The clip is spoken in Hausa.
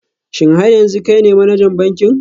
Shin har yanzu kai ne manajan bankin?